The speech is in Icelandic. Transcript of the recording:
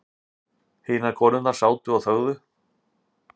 Hinar konurnar sátu og þögðu.